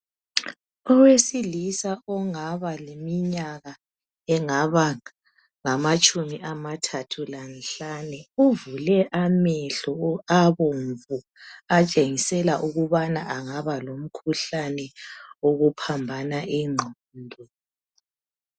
Owesilisa ongaba leminyaka engaba ngamatshumi amathathu lanhlanu, uvule amehlo abomvu atshengisela ukubana angaba lomkhuhlane wokuphambana ingqondo.